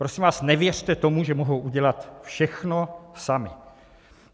Prosím vás, nevěřte tomu, že mohou udělat všechno sami.